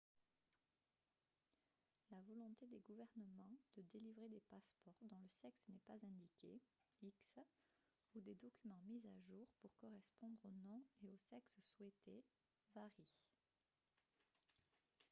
la volonté des gouvernements de délivrer des passeports dont le sexe n'est pas indiqué x ou des documents mis à jour pour correspondre au nom et au sexe souhaités varie